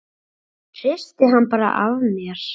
Hristi hann bara af mér.